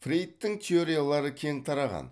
фрейдтың теориялары кең тараған